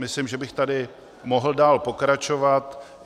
Myslím, že bych tady mohl dál pokračovat.